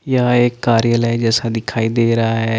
यह एक कार्यलय जैसा दिखाई दे रहा है।